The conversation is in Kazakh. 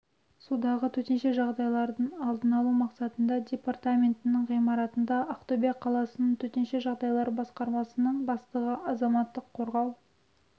судағы төтенше жағдайлардың алдын алу мақсатында департаментінің ғимаратында ақтөбе қаласының төтенше жағдайлар басқармасының бастығы азаматтық қорғау